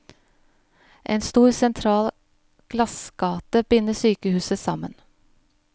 En stor sentral glassgate binder sykehuset sammen.